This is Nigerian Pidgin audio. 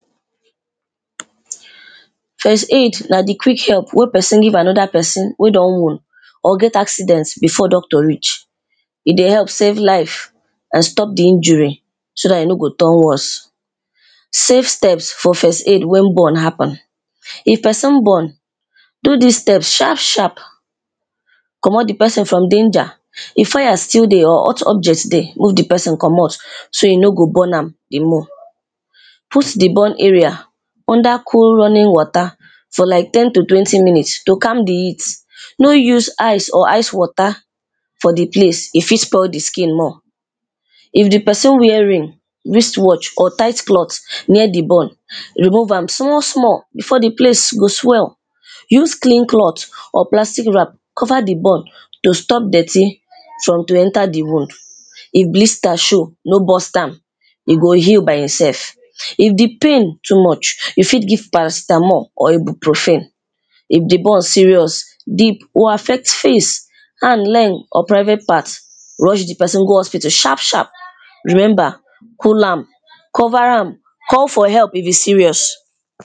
First aid na di quick help wey pesin give anoda pesin wey don wound or get acident before doctor reach, e dey help safe lives and stop di injury so dat e no go turn worst. Safe steps for first aid wen burn happen, if pesin burn do dis steps sharp sharp, comot di pesin from danger if fire still dey hot object dey move di pesin comot so e no go burn am di more, put di burn area under cool running water for like ten to twenty minutes calm di heat no use ice or ice water for di place e fit stop di skin more, if di pesin wear ring, wrist watch or tight cloth near di burn remove am small small before di place go swell use clean cloth or plastic wrap cover di burn to stop dirty from to enter di wound, if blister show no bust am e go heal by im sef if di pain too much you fit give paracetamol or ebuprophin, di burn serious, deep or affect hand, leg or private part rush di pesin go hospital sharp sharp. Remember cool am, cover am, call for help if e serious.